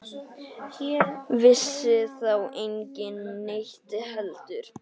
Vissi þá enginn neitt heldur?